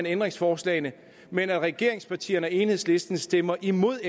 ændringsforslagene men at regeringspartierne og enhedslisten stemmer imod